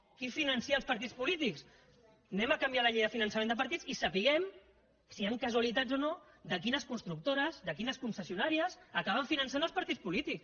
qui finança els partits polítics canviem la llei de finançament de partits i sapiguem si hi han casualitats o no sobre quines constructores sobre quines concessionàries acaben finançant els partits polítics